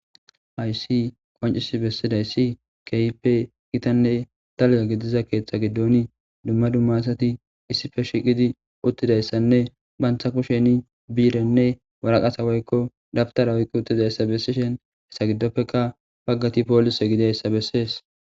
Haysi qoncis bessidayssi keyippe kitanne taluya gidiza keeththa giddoni dumma dummasati issife shiqidi uttidayssanne bantha kusheni biirenne waraqasa woykko dabtara woykko uttidayssa bessishen hessa giddopfeka paggati poolise gideyssa bessees.